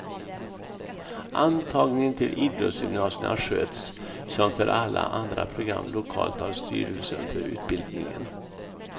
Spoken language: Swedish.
Antagningen till idrottsgymnasierna sköts, som för alla andra program, lokalt av styrelsen för utbildningen.